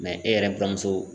Mɛ e yɛrɛ buramuso